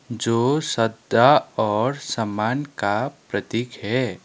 जो श्रद्धा और सम्मान का प्रतीक है।